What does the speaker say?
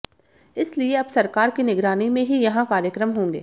इसलिए अब सरकार की निगरानी में ही यहां कार्यक्रम होंगे